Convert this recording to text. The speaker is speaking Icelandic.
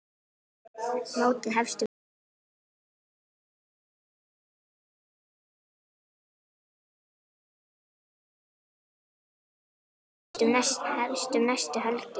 Mótið hefst um næstu helgi.